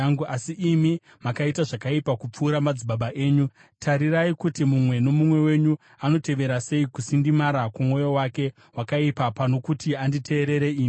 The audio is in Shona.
Asi imi makaita zvakaipa kupfuura madzibaba enyu. Tarirai kuti mumwe nomumwe wenyu anotevera sei kusindimara kwomwoyo wake wakaipa pano kuti anditeerere ini.